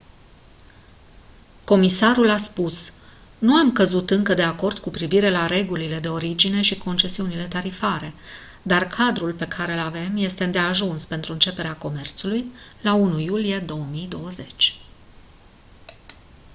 comisarul a spus: «nu am căzut încă de acord cu privire la regulile de origine și concesiunile tarifare dar cadrul pe care îl avem este îndeajuns pentru începerea comerțului la 1 iulie 2020».